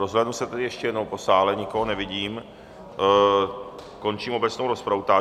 Rozhlédnu se tedy ještě jednou po sále, nikoho nevidím, končím obecnou rozpravu.